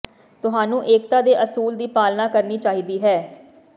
ਤੁਹਾਨੂੰ ਏਕਤਾ ਦੇ ਅਸੂਲ ਦੀ ਪਾਲਣਾ ਕਰਨੀ ਚਾਹੀਦੀ ਹੈ